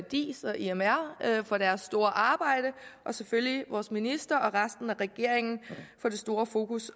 diis og imr for deres store arbejde og selvfølgelig også ministeren og resten af regeringen for det store fokus